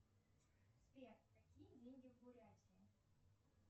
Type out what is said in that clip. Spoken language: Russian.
сбер какие деньги в бурятии